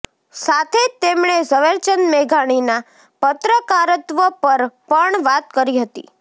સાથે જ તેમણે ઝવેરચંદ મેઘાણીના પત્રકારત્વ પર પણ વાત કરી હતી